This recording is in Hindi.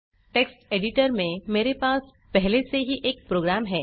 टेक्स्ट एडिटर में मेरे पास पहले से ही एक प्रोग्राम है